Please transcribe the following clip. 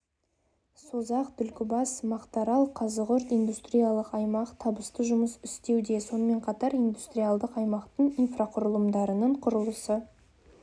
созақ түлкібас мақтарал қазығұрт индустриялдық аймақ табысты жұмыс істеуде сонымен қатар индустриялдық аймақтың инфрақұрылымдарының құрылысы